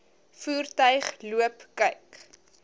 voertuig loop kyk